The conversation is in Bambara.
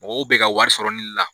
Mɔgɔw be ka wari sɔrɔ ni la.